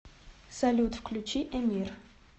салют включи эмир